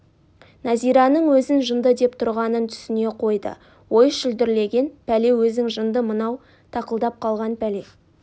нәзираның өзін жынды деп тұрғанын түсіне қойды ой шүлдірлеген пәле өзің жынды мынау тақылдап қалған пәле